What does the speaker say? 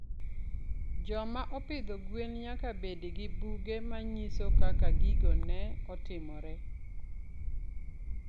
Joma opidho gwen nyaka bed gi buge ma nyiso kaka gigo ne otimore.